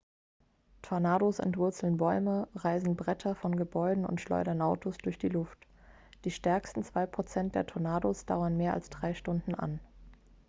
tornados entwurzeln bäume reißen bretter von gebäuden und schleudern autos durch die luft die stärksten 2 prozent der tornados dauern mehr als drei stunden an